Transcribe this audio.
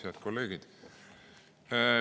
Head kolleegid!